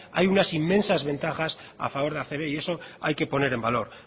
hay unas inmensas ventajas a favor de acb y eso hay que poner en valor